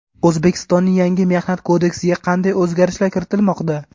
O‘zbekistonning yangi Mehnat kodeksiga qanday o‘zgarishlar kiritilmoqda?.